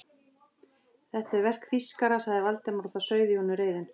Þetta er verk þýskara sagði Valdimar og það sauð í honum reiðin.